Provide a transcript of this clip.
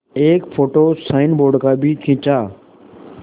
एक photo signboard का भी खींचा